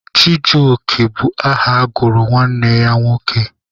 Chijioke bụ aha a gụrụ nwanne ya nke nwoke.